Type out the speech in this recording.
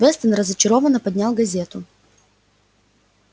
вестон разочарованно поднял газету